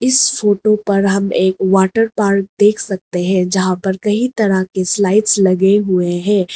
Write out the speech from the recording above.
इस फोटो पर हम एक वाटर पार्क देख सकते हैं जहां पर कई तरह के स्लाइड्स लगे हुए हैं।